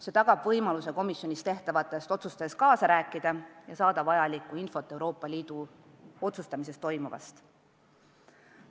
See tagab võimaluse komisjonis tehtavates otsustes kaasa rääkida ja saada vajalikku infot Euroopa Liidu otsustusprotsessis toimuvast.